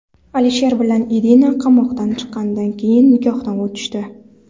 Alisher bilan Irina qamoqdan chiqqandan keyin nikohdan o‘tishdi.